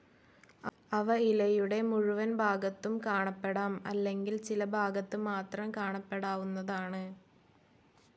അവ ഇലയുടെ മുഴുവൻ ഭാഗത്തും കാണപ്പെടാം അല്ലെങ്കിൽ ചില ഭാഗത്ത് മാത്രം കാണപ്പെടാവുന്നതാണ്.